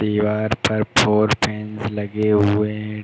दीवार पर four fans लगे हुए हैं।